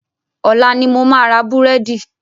Ọ̀la ni mo máa ra búrẹ́dì.